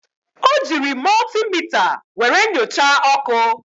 O jiiri mọltimita were nyochaa ọkụ.